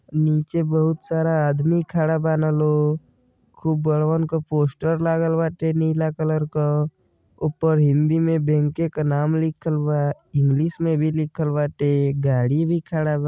नीचे बहुत सारा आदमी खड़ा बान लो। खूब बड़वन क पोस्टर लागल बाटे नीला कलर क। ऊपर हिंदी में बैंके क नाम लिखल बा। इंग्लिश में भी लिखल बाटे। गाड़ी भी खड़ा बा।